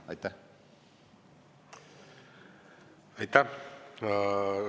Aitäh!